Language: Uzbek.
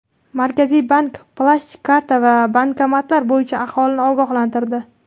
Markaziy bank plastik karta va bankomatlar bo‘yicha aholini ogohlantirdi.